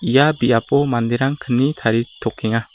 ia biapo manderang kni taritokenga.